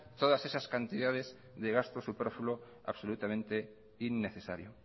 todas esas cantidades de gasto superfluo absolutamente innecesario